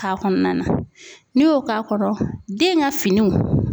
K'a kɔnɔna na n'i y'o k'a kɔnɔ, den ka finiw